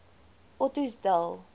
ottosdal